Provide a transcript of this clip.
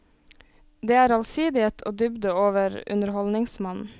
Det er allsidighet og dybde over underholdningsmannen.